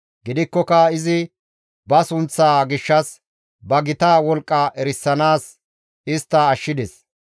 Gidikkoka izi ba sunththaa gishshas, ba gita wolqqa erisanaas istta ashshides.